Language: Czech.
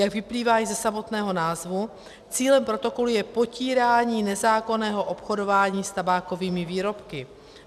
Jak vyplývá již ze samotného názvu, cílem protokolu je potírání nezákonného obchodování s tabákovými výrobky.